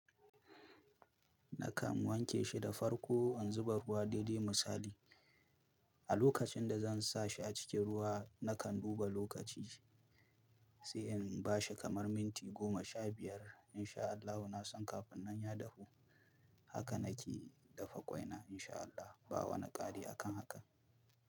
Nakan wanke shi da farko in zuba ruwa daidai misali. A lokacin da zan sa shi a cikin ruwa, nakan duba lokaci sai in ba shi kamar minti goma sha biyar in sha Allahu. Na san kafin nan ya dahu haka nake dafa ƙwaina in sha Allah ba wani kari akan haka.